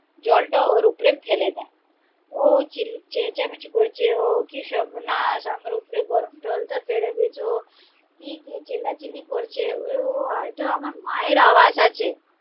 জলটা ওর উপরে এ ফেলে দেয়, ও চেঁচামেচি করছে ও কি সর্বনাশ আমার উপরে গরম জল তা ফেলে দিয়েছো কি চেল্লাচিল্লি করছে, ও হয়তো আমার মায়ের আওয়াজ আছে